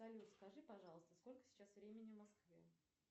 салют скажи пожалуйста сколько сейчас времени в москве